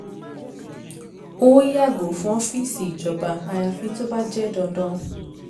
ó yàgò fún ọ́fíìsì ìjọba ayafi tó bá jẹ́ dandan